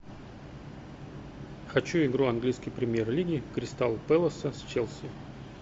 хочу игру английской премьер лиги кристал пэласа с челси